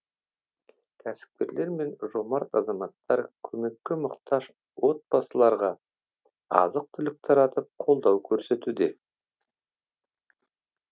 кәсіпкерлер мен жомарт азаматтар көмекке мұқтаж отбасыларға азық түлік таратып қолдау көрсетуде